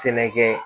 Sɛnɛkɛ